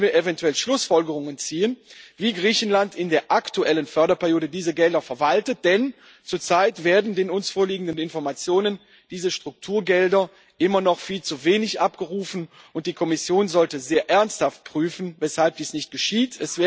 Daraus können wir eventuell Schlussfolgerungen ziehen, wie Griechenland in der aktuellen Förderperiode diese Gelder verwaltet, denn zurzeit werden laut den uns vorliegenden Informationen diese Strukturgelder immer noch viel zu wenig abgerufen, und die Kommission sollte sehr ernsthaft prüfen, weshalb dies nicht geschieht.